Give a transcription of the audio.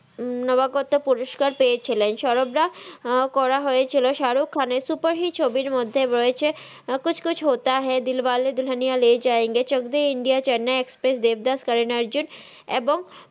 নাবা কাত্তার পুরুস্কার এয়েছিলেন দে করা হয়েছিল সারুক খানের সুপ্পের হিট ছবির মধহে রয়েছে কুছ কুছ হতা হ দিল্বালে দুখানিয়া লে জায়েঙ্গে ছাচক দে ইন্ডিয়া চেন্নাই এক্সপ্রেস দেব্দাস কারান আরজুন আবং